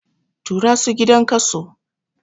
Tura su gidan kaso!